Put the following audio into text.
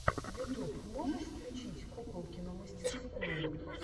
ютуб можешь включить куколкину мастерскую